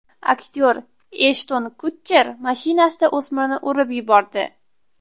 Aktyor Eshton Kutcher mashinasida o‘smirni urib yubordi.